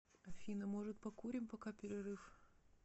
афина может покурим пока перерыв